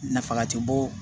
Nafa ti bɔ